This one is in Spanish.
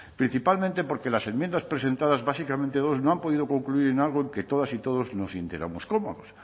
principalmente porque las enmiendas presentadas básicamente dos no han podido concluir en algo en que todas y todos nos sintiéramos cómodos